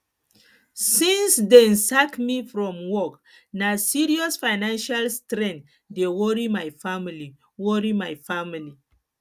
since dem sack me from work na serious financial strain dey worry my family worry my family